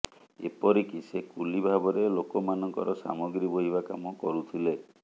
ଏପରିକି ସେ କୁଲି ଭାବରେ ଲୋକମାନଙ୍କର ସାମଗ୍ରୀ ବୋହିବା କାମ କରୁଥିଲେ